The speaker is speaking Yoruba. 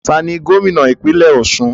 Taàní Gómìnà ìpínlẹ́ Ọ̀sun?